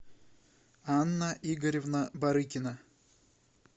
анна игоревна барыкина